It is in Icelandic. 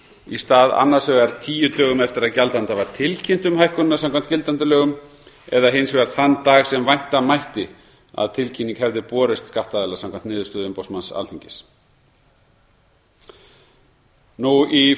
í stað annars vegar tíu dögum eftir að gjaldanda var tilkynnt um hækkunina samkvæmt gildandi lögum eða hins vegar þann dag sem vænta mætti að tilkynning hefði borist skattaðila samkvæmt niðurstöðu umboðsmanns alþingis í frumvarpinu eru